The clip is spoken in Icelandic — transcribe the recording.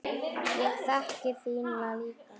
Ég þekki þína líka.